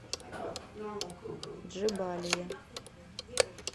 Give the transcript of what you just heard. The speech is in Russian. джебалия